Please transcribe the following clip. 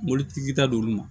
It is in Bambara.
Mobilitigi ta d'olu ma